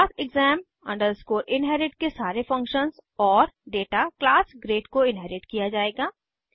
class exam inherit के सारे functions और डेटा क्लास ग्रेड को इन्हेरिट किया जायेगा